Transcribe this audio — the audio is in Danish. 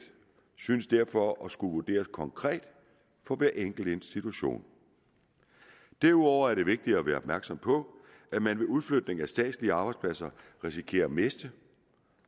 synes derfor at skulle vurderes konkret for hver enkelt institution derudover er det vigtigt at være opmærksom på at man ved udflytning af statslige arbejdspladser risikerer at miste